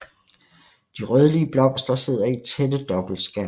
De rødlige blomster sidder i tætte dobbeltskærme